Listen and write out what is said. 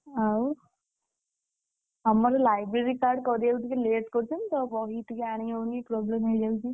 ଆଉ, ଆମର library card କରିବାକୁଟିକେ late କରୁଛନ୍ତି ତ। ବହି ଟିକେ ଆଣିହେଉନି problem ହେଇଯାଉଛି।